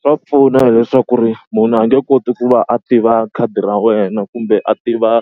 Swa pfuna hileswaku ri munhu a nge koti ku va a tiva khadi ra wena kumbe a tiva